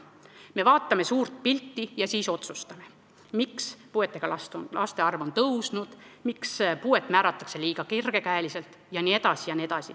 Me vaatame suurt pilti ja siis otsustame, miks puudega laste arv on tõusnud, miks puuet määratakse liiga kergel käel jne.